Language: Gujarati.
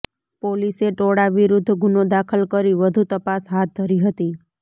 પોલીસે ટોળા વિરૂદ્ધ ગુનો દાખલ કરી વધુ તપાસ હાથ ધરી હતી